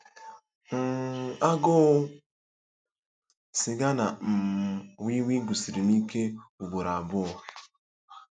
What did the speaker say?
um Agụụ sịga na um wii wii gụsiri m ike ugboro abụọ.